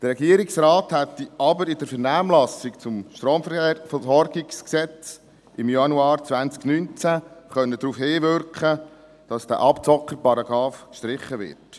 Der Regierungsrat hätte aber in der Vernehmlassung zum StromVG im Januar 2019 darauf hinwirken können, dass dieser Abzockerparagraph gestrichen wird.